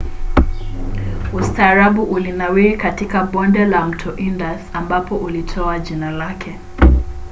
ustaarabu ulinawiri katika bonde la mto indus ambapo ulitoa jina lake